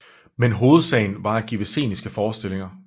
Men Hovedsagen var at give sceniske Forestillinger